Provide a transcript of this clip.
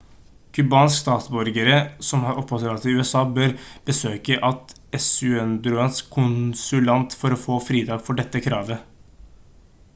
cubanske statsborgere som har oppholdstillatelse i usa bør besøke et ecuadoriansk konsulat for å få fritak for dette kravet